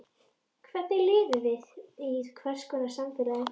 Hvernig lífi lifum við og í hvers konar samfélagi?